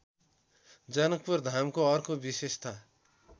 जनकपुरधामको अर्को विशेषता